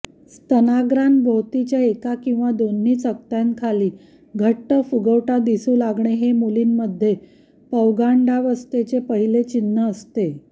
स्तनाग्रांभोवतीच्या एका किंवा दोन्ही चकत्यांखाली घट्ट फुगवटा दिसू लागणे हे मुलींमधे पौगंडावस्थेचे पहिले चिन्ह असते